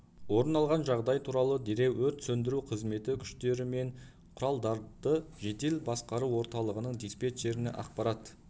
орын алған жағдай туралы дереу өрт сөндіру қызметі күштер мен құралдарды жедел басқару орталығының диспетчеріне ақпарат